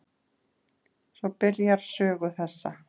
Svo byrjar sögu þessa.